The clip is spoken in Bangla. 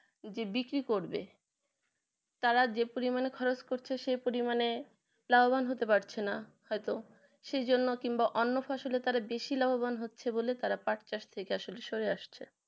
যে বিক্রি করবে তারা যে পরিমানে খরচ করছে সেই পরিমানে লাভবান হতে পারছে না হয়তো সেই জন্য কিংবা তারা অন্য ফসলে তারা বেশি লাভবান হচ্ছে বলে তারা পাঠ চাষ থেকে সরে আসছে